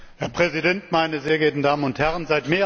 Herr Präsident, meine sehr geehrten Damen und Herren!